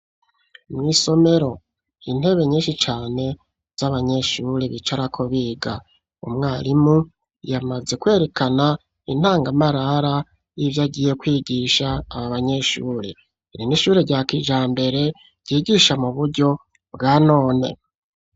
Mw'isomero intebe nyinshi cane z'abanyeshuri bicarako biga, umwarimu yamaze kwerekana intangamarara y'ivyo agiye kwigisha aba banyeshuri, iri n'ishuri rya kijambere ryigisha mu buryo bwa none.